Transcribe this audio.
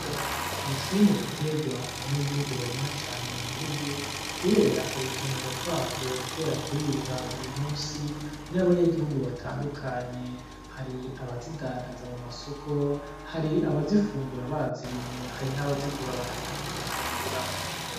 Imboga ni kimwe mu bitegwa abanyagihugu barima cane mu gihugu, kubera ugukenegwa kwavyo, kubera kuribwa buri musi n'abanyagihugu batandukanye, hari abazidandaza mu masoko, hari abazifungura bazirimye, hari n'abazigura bakaja kuzifungura.